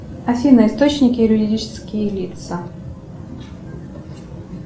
афина источники юридические лица